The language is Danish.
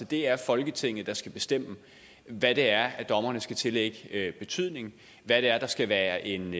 det er folketinget der skal bestemme hvad det er dommerne skal tillægge betydning hvad det er der skal være en